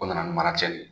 O nana ni maraci de ye